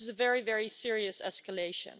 So this is a very, very serious escalation.